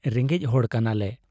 ᱨᱮᱸᱜᱮᱡ ᱦᱚᱲ ᱠᱟᱱᱟᱞᱮ ᱾